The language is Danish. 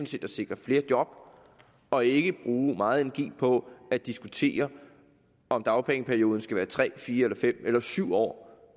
set at sikre flere job og ikke bruge meget energi på at diskutere om dagpengeperioden skal være tre fire fem eller syv år